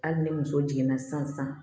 Hali ni muso jiginna san san